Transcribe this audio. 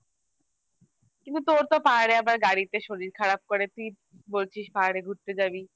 কিন্তু তোর তো পাহাড়ে আবার গাড়িতে শরীর খারাপ করে তুই বলছিস আবার পাহাড়ে ঘুরতে যাবি